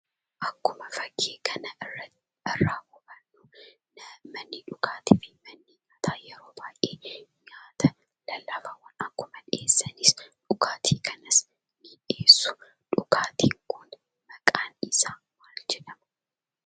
Akkuma fakkii kana irraa hubannu manni dhugaatii fi manni bunaa yeroo baay'ee nyaata daldala bunaa akkuma dhiyeessaniin dhugaatii kanas ni dhiyeessu. Dhugaatiin kun maqaan isaa maal jedhama?